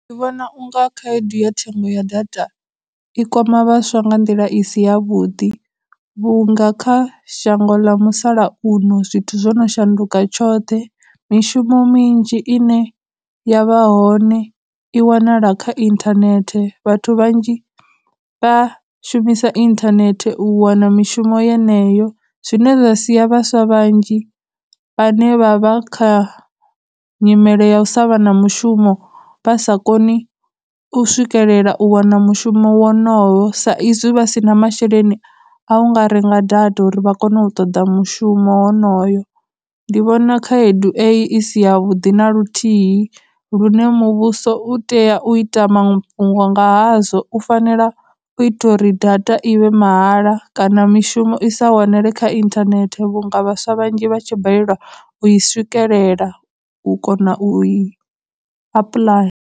Ndi vhona unga khaedu ya thengo ya data i kwama vhaswa nga nḓila i si ya vhuḓi, vhunga kha shango ḽa musalauno zwithu zwo no shanduka tshoṱhe, mishumo minzhi ine yavha hone i wanala kha internet, vhathu vhanzhi vha shumisa internet u wana mishumo yeneyo, zwine zwa siya vhaswa vhanzhi vhane vha vha kha nyimele ya u sa vha na mushumo vha sa koni u swikelela u wana mushumo wonoyo, sa izwi vha si na masheleni a nga renga data uri vha kono u ṱoḓa mushumo wonoyo. Ndi vhona khaedu eyi i si ya vhuḓi na luthihi lune muvhuso u tea u ita mafhungo nga hazwo, u fanela u ita uri data i vhe mahala, kana mishumo i sa wanele kha internet vhunga vhaswa vhanzhi vha tshi balelwa u i swikelela u kona u i apuḽaya.